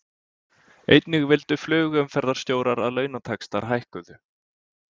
Einnig vildu flugumferðarstjórar að launataxtar hækkuðu